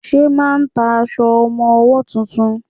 Ṣẹ́ máà ń ta aṣọ ọmọwọ́ tuntun?